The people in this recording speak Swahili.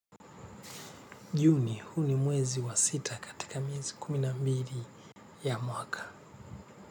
Juni, huu ni mwezi wa sita katika miezi kumi na mbili ya mwaka.